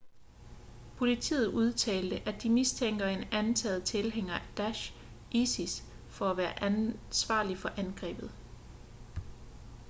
politiet udtalte at de mistænker en antaget tilhænger af daesh isis for at være ansvarlig for angrebet